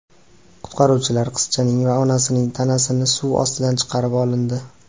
Qutqaruvchilar qizchaning va onasining tanasini suv ostidan chiqarib olindi.